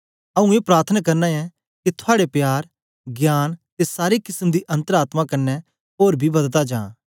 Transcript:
आऊँ ए प्रार्थना करना ऐं के थुआड़े प्यार ज्ञान ते सारे किसम दी अन्तर आत्मा कन्ने ओर बी बददा जा